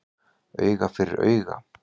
Auga fyrir auga